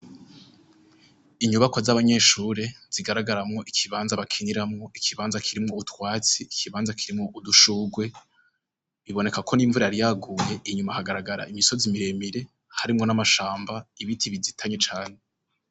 Inyubakwa z'abanyeshure zigaragaramwo ikibanza bakiniramwo, ikibanza kirimwo utwatsi, ikibanza kirimwo udushurwe, biboneka ko n'imvura yari yaguye; inyuma hagaragara imisozi miremire harimwo n'amashamba ibiti bizitanye cane.